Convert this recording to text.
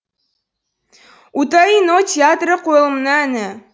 утаи но театры қойылымының әні